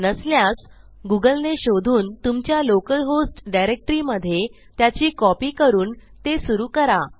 नसल्यास गूगल ने शोधून तुमच्या लोकल होस्ट डायरेक्टरी मधे त्याची कॉपी करून ते सुरू करा